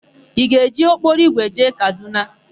Ị ga-eji ụgbọokporoigwe jee Kadụna?